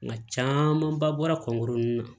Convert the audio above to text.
Nka camanba bɔra kɔngɔ na